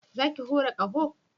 Za ki hura ƙaho?